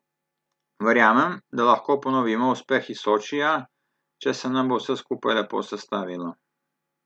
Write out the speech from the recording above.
Verjamem, da lahko ponovimo uspeh iz Sočija, če se nam bo vse skupaj lepo sestavilo.